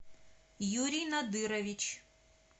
юрий надырович